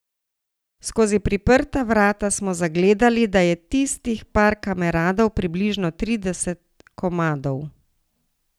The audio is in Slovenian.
Skozi priprta vrata smo zagledali, da je tistih par kameradov približno trideset komadov.